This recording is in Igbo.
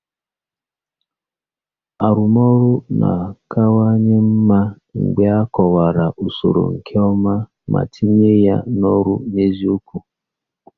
Arụmọrụ na-akawanye mma mgbe a kọwara usoro nke ọma ma tinye ya n'ọrụ n'eziokwu.